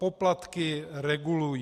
Poplatky regulují.